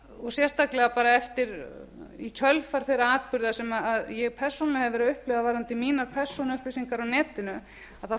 og sérstaklega í kjölfar þeirra atburða sem ég persónulega hef verið að upplifa varðandi mínar persónuupplýsingar á netinu þá